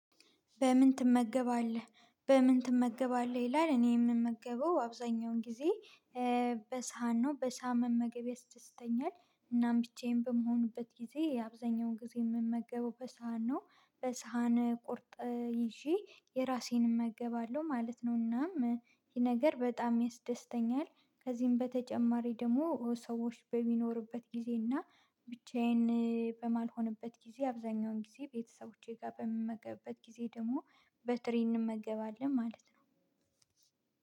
በምን ትመገባለህ? በምን ትመገባለህ ይላል እኔ የምመገበው አብዛኛውን ጊዜ በሳህን ነው በሳህን መመገብ ያስደስተኛል። እናም ብቻዬን በመሆኑበት ጊዜ የአብዛኛውን ጊዜ የምመገበው በሳህን ነው። በሳህን ቁርጥ ይዤ የራሴን እመገባለሁ ማለት ነው። እናም ይሄ ነገር በጣም ያደስተኛል። ከዚህም በተጨማሪ ደግሞ ሰዎች በሚኖሩበት ጊዜና። ብቻዬን በማልሆንበት ጊዜ አብዛኛውን ጊዜ ቤተሰቦቼ ጋር በምመገብበት ጊዜ ደግሞ በትሪ እንመገባለን ማለት ነው።